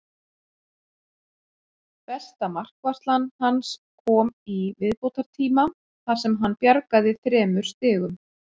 Besta markvarsla hans kom í viðbótartíma þar sem hann bjargaði þremur stigum.